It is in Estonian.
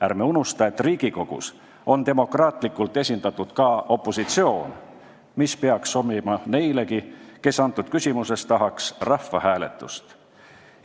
Ärme unustame, et Riigikogus on demokraatlikult esindatud ka opositsioon, mis peaks sobima neilegi, kes selles küsimuses rahvahääletust tahaksid.